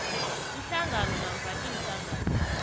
ihlangano namkha iinhlangano